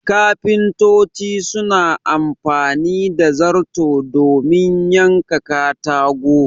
Kafintoci suna amfani da zarto domin yanka katago